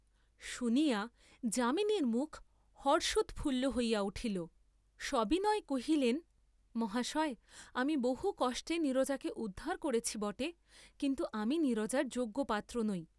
শুনিয়া যামিনীর মুখ হর্ষোৎফুল্ল হইয়া উঠিল, সবিনয়ে কহিলেন, মহাশয়, আমি বহু কষ্টে নীরজাকে উদ্ধার করেছি বটে, কিন্তু আমি নীরজার যোগ্য পাত্র নই।